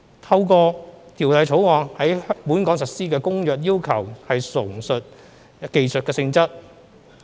透過《條例草案》在本港實施的《公約》要求純屬技術性質。